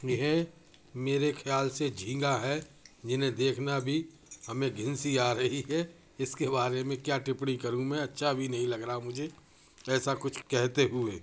यह मेरे खयाल से झींगा हेजिन्हे देखना भी हमे घिन्न सी आरही हेइसके बारे मे क्या टिपपड़ी करू मे अच्छा भी नहीं लग रहा है मुझे एस कुछ कहते हुए।